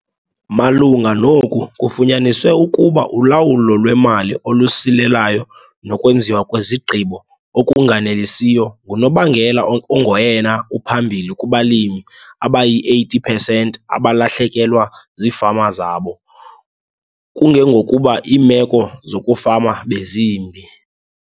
Malunga noku kufunyaniswe ukuba ulawulo lwemali olusilelayo nokwenziwa kwezigqibo okunganelisiyo ngunobangela ongoyena uphambili kubalimi abayi-80 percent abalahlekelwa ziifama zabo kungengokuba iimeko zokufama bezimbi.